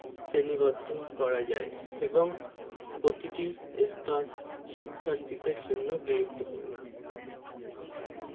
শ্রেণীবদ্ধ করা যায় এবং প্রতিটি স্তর শিক্ষার্থীদের জন্য গুরুত্বপূর্ণ